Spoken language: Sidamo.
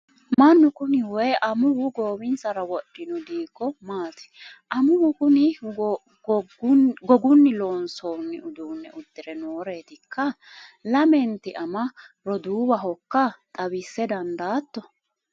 mannu kuni woyi amuwu goowinsara wodhino diiggo maati? amuwu kuni gogunni loonsoonni uduune uddire nooreetikka? lamenti ama roduuwahokka xawisa dandaatto?